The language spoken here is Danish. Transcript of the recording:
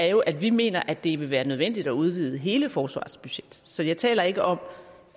jo at vi mener at det vil være nødvendigt at udvide hele forsvarets budget så jeg taler ikke om